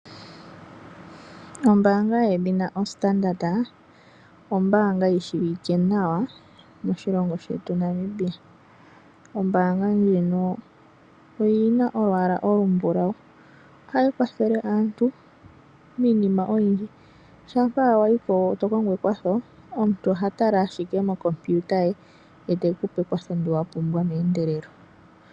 Ombaanga yedhina Standard ombaanga yi shiwike nawa moshilongo shetu Namibia. Ombaanga ndjino oyi na olwaala olumbulau. Ohayi kwathele aantu miinima oyindji. Shampa wa yi po to kongo ekwatho omuntu oha tala owala mokompiuta ye e te ku pe ekwatho ndyoka wa pumbwa meendelelo.